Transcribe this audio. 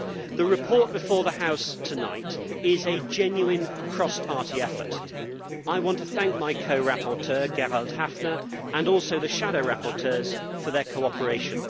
The report before the House tonight is a genuine cross party effort. I want to thank my co rapporteur, Gerald Häfner, and also the shadow rapporteurs for their cooperation.